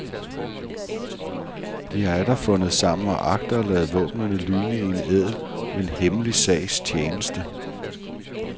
De har atter fundet sammen og agter at lade våbnene lyne i en ædel, men hemmelig sags tjeneste.